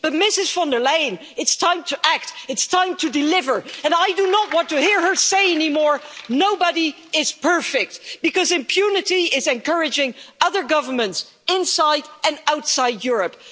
But Ms von der Leyen, it's time to act, it's time to deliver, and I do not want to hear her say anymore that nobody is perfect because impunity is encouraging other governments inside and outside Europe.